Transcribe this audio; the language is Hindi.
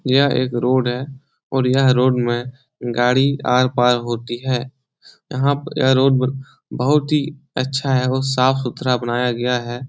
यह एक रोड है और यह रोड में गाडी आर-पार होती है यह पर यह रोड बहुत ही अच्छा है और साफ़ सुथरा बनाया गया है।